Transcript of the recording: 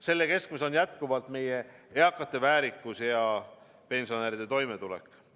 Selle keskmes on jätkuvalt meie eakate väärikus ja pensionäride toimetulek.